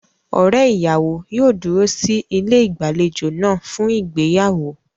Ọ̀rẹ́ ìyàwó yóò dúró sí ilé ìgbàlejò náà fún ìgbéyàwó.